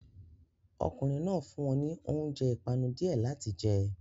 Ọkùnrin náà fún wọn ní oúnjẹ ìpanu díẹ̀ láti jẹ